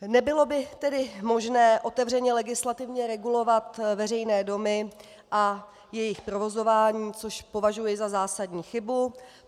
Nebylo by tedy možné otevřeně legislativně regulovat veřejné domy a jejich provozování, což považuji za zásadní chybu.